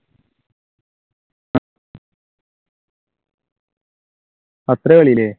അത്ര കളിയല്ലേ?